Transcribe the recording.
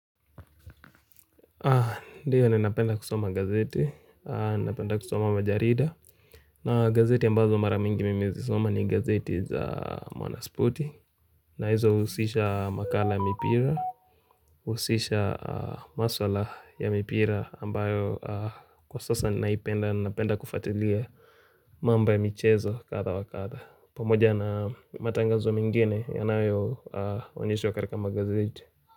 Ndio ni napenda kusoma gazeti, napenda kusoma majarida na gazeti ambazo mara mingi mimi huzisoma ni gazeti za mwanaspoti na hizo husisha makala ya mipira husisha maswala ya mipira ambayo kwa sasa ninaipenda napenda kufatilia mambo ya michezo kadha wakadha pamoja na matangazo mingine yanao uonyeshwa katika magazeti.